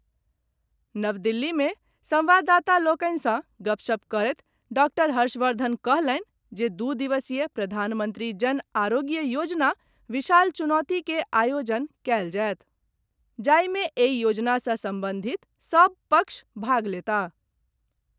नव दिल्ली मे संवाददाता लोकनि सॅ गपशप करैत डॉक्टर हर्षवर्धन कहलनि जे दू दिवसीय प्रधानमंत्री जन आरोग्य योजना विशाल चुनौती के आयोजन कयल जायत, जाहि मे एहि योजना से संबंधित सभ पक्ष भाग लेताह।